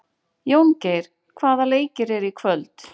Jóngeir, hvaða leikir eru í kvöld?